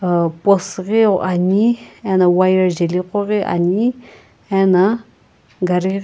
post ghi ane ano wire jaeli ghoghi ane ana gari --